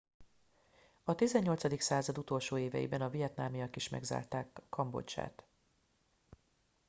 a 18. század utolsó éveiben a vietnamiak is megszállták kambodzsát